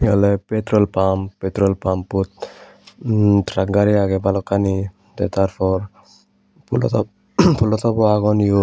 ole petro pump petrol pump ot truck gari age bhalokkani the tar por phoolo top o agon eiot.